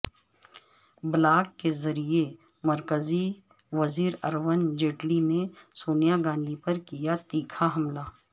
blog کے ذریعے مرکزی وزیر ارون جیٹلی نے سونیا گاندھی پر کیا تیکھا حملہ